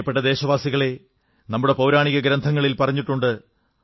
പ്രിയപ്പെട്ട ദേശവാസികളേ നമ്മുടെ ഗ്രന്ഥങ്ങളിൽ പറഞ്ഞിട്ടുണ്ട്